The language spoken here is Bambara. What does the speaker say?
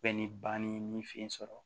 Bɛɛ ni bani ni fɛ sɔrɔ